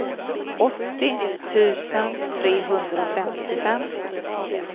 åttio tusen trehundrafemtiofem